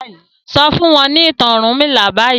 sọ fún wọn ni ìtàn ọrunmila bayii.